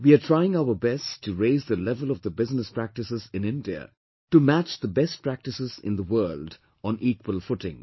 We are trying our best to raise the level of the business practices in India to match the best practices in the world on equal footing